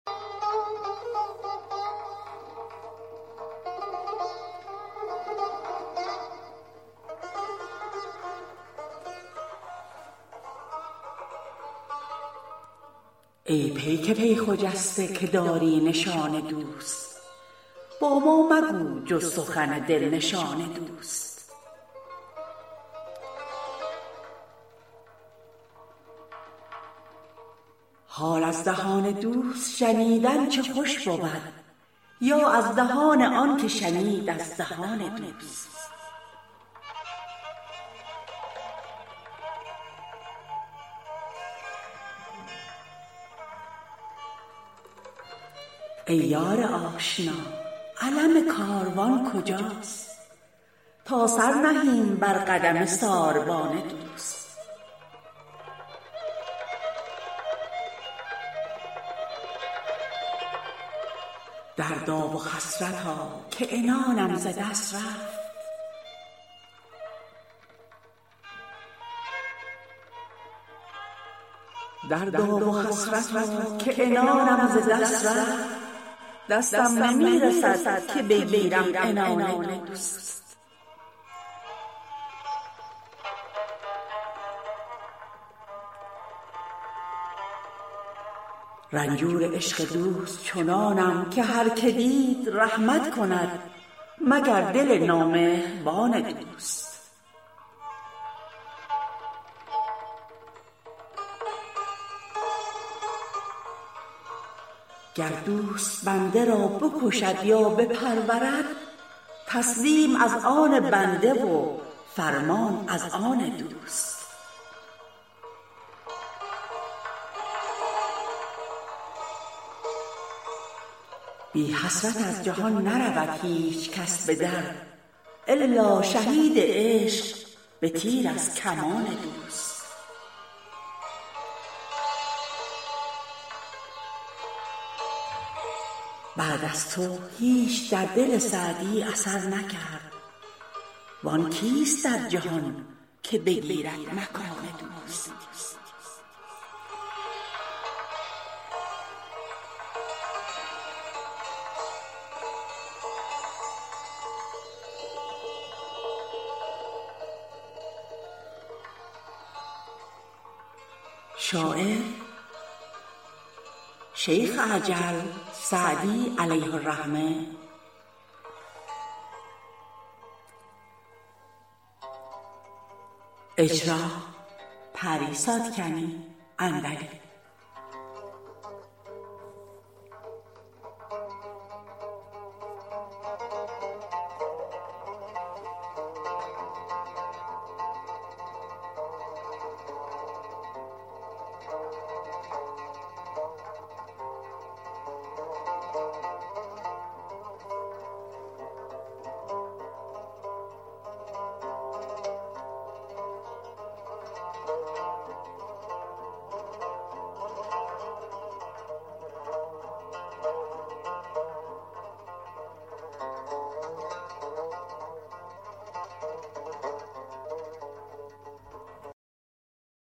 ای پیک پی خجسته که داری نشان دوست با ما مگو به جز سخن دل نشان دوست حال از دهان دوست شنیدن چه خوش بود یا از دهان آن که شنید از دهان دوست ای یار آشنا علم کاروان کجاست تا سر نهیم بر قدم ساربان دوست گر زر فدای دوست کنند اهل روزگار ما سر فدای پای رسالت رسان دوست دردا و حسرتا که عنانم ز دست رفت دستم نمی رسد که بگیرم عنان دوست رنجور عشق دوست چنانم که هر که دید رحمت کند مگر دل نامهربان دوست گر دوست بنده را بکشد یا بپرورد تسلیم از آن بنده و فرمان از آن دوست گر آستین دوست بیفتد به دست من چندان که زنده ام سر من و آستان دوست بی حسرت از جهان نرود هیچ کس به در الا شهید عشق به تیر از کمان دوست بعد از تو هیچ در دل سعدی گذر نکرد وآن کیست در جهان که بگیرد مکان دوست